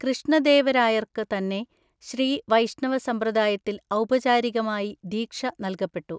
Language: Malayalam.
കൃഷ്ണദേവരായര്‍ക്ക് തന്നെ ശ്രീ വൈഷ്ണവ സമ്പ്രദായത്തിൽ ഔപചാരികമായി ദീക്ഷ നല്‍കപ്പെട്ടു.